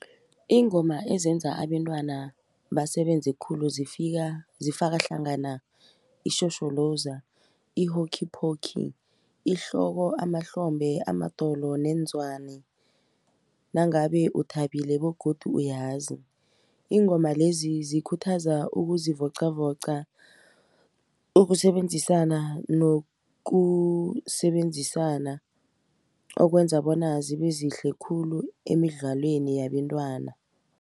Iingoma ezenza abentwana basebenze khulu zifaka hlangana ishosholoza i-hockey pockey, ihloko amahlombe amadolo neenzwane nangabe uthabile begodu uyazi. Iingoma lezi zikhuthaza ukuzivoqavoqa ukusebenzisana nokusebenzisana okwenza bona zibe zihle khulu emidlalweni yabentwana.